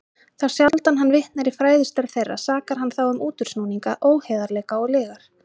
Þá sjaldan hann vitnar í fræðistörf þeirra, sakar hann þá um útúrsnúninga, óheiðarleika og lygar.